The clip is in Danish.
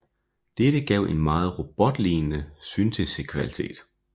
Dette gav en meget robotlignende syntesekvalitet